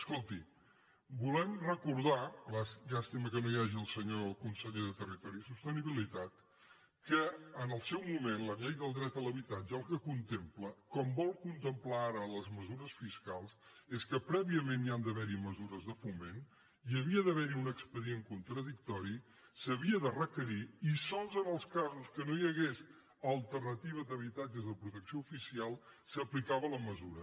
escolti volem recordar llàstima que no hi hagi el senyor conseller de territori i sostenibilitat que en el seu moment la llei del dret a l’habitatge el que contempla com volen contemplar ara les mesures fiscals és que prèviament hi han d’haver mesures de foment hi havia d’haver un expedient contradictori s’havia de requerir i sols en els casos que no hi hagués alternativa d’habitatges de protecció oficial s’aplicava la mesura